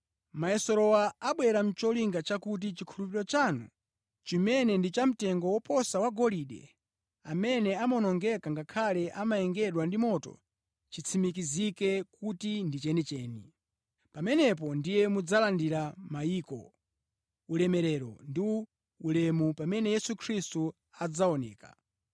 Mayeserowa abwera nʼcholinga chakuti chikhulupiriro chanu, chimene ndi chamtengo woposa wa golide, amene amawonongeka ngakhale amayengedwa ndi moto, chitsimikizike kuti ndi chenicheni. Pamenepo ndiye mudzalandire mayamiko, ulemerero ndi ulemu pamene Yesu Khristu adzaoneka.